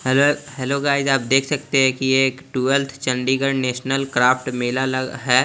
र hello guys आप देख सकते है की ये एक ट्वेलथ चंडीगढ़ नेशनल क्राफ्ट मेला लग है।